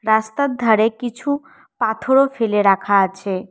রাস্তার ধারে কিছু পাথরও ফেলে রাখা আছে।